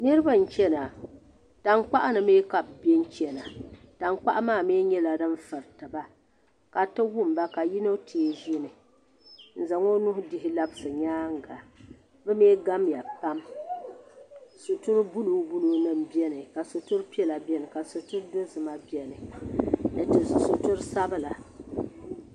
niraba n chɛna tankpaɣu ni mii ka bi biɛni chɛna tankpaɣa maa mii nyɛla din furitiba ka di ti wumba ka yino tee ʒini n zaŋ o nuu dihi labisi nyaanga bi mii gamya pam sitiri buluu buluu nim biɛni ka sitiri piɛla biɛni ka sitiri dozima biɛni ni sitiri sabila